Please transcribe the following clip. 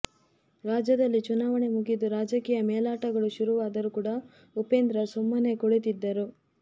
ರಾಜ್ಯದಲ್ಲಿ ಚುನಾವಣೆ ಮುಗಿದು ರಾಜಕೀಯ ಮೇಲಾಟಗಳು ಶುರುವಾದರೂ ಕೂಡ ಉಪೇಂದ್ರ ಸುಮ್ಮನೆ ಕುಳಿತಿದ್ದರು